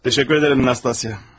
Təşəkkür edirəm, Nastasya.